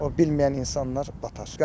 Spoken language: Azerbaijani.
O bilməyən insanlar batar.